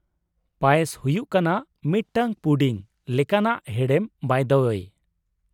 ᱯᱟᱭᱮᱥ ᱦᱩᱭᱩᱜ ᱠᱟᱱᱟ ᱢᱤᱫᱴᱟᱝ ᱯᱩᱰᱤᱝ ᱞᱮᱠᱟᱱᱟᱜ ᱦᱮᱲᱮᱢ ᱵᱟᱭ ᱫᱟ ᱳᱭᱮ ᱾